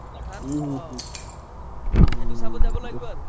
পাথান অ উম সেইটো চাব লাগিব আৰু